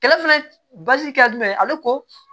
Kɛlɛ fana kɛ jumɛn ye ale ko